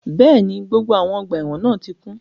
Bẹ́ẹ̀ni, gbogbo awọn ọgba ẹ́wọ̀n náà ti kun